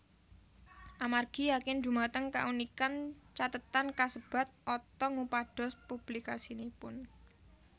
Amargi yakin dhumateng kaunikan cathetan kasebat Otto ngupados publikasinipun